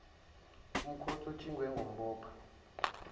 umkhonto otshingwe ngumbopha